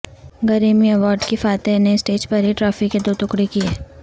Grameen award کی فاتح نے اسٹیج پر ہی ٹرافی کے دو ٹکڑے کئے